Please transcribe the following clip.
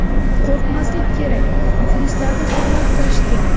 Qo‘rqmaslik kerak, muxlislarni hurmat qilish kerak.